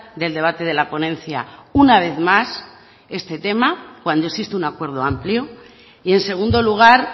del debate de la ponencia una vez más este tema cuando existe un acuerdo amplio y en segundo lugar